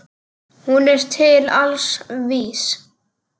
Hún er til alls vís.